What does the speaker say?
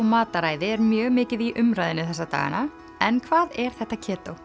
mataræði er mjög mikið í umræðunni þessa dagana en hvað er þetta